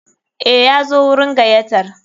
Eh, Yazo wurin gayyatar.